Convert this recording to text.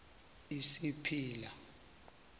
isipila